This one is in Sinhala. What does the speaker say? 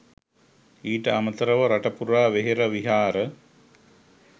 ඊට අමතරව රටපුරා වෙහෙර විහාර